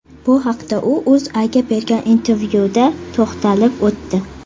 Bu haqda u O‘zAga bergan intervyuda to‘xtalib o‘tdi .